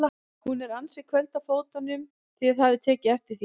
Hún er ansi köld á fótunum, þið hafið tekið eftir því?